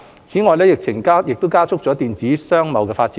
此外，疫情加速了電子商貿的發展。